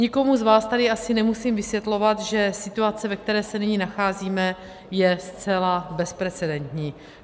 Nikomu z vás tady asi nemusím vysvětlovat, že situace, ve které se nyní nacházíme, je zcela bezprecedentní.